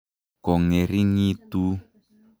kongering'itu.